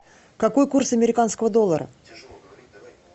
какой курс американского доллара